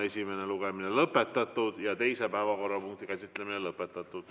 Esimene lugemine on lõpetatud ja teise päevakorrapunkti käsitlemine samuti.